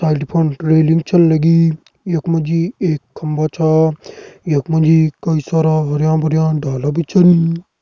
रेलिंग छन लगी यक मजी एक खम्भा छ यक मजी कई सारा हरयां भरयां डाला बि छन।